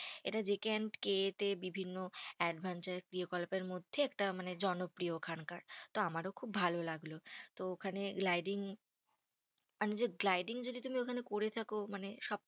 এটা JK and K কে এ তে বিভিন্ন adventure ক্রিয়াকলাপের মধ্যে একটা মানে জনপ্রিয় ওখানকার। আমারো খুব ভালো লাগলো। তো ওখানে gliding মানে যে gliding যদি তুমি ওখানে করে থাকো মানে সব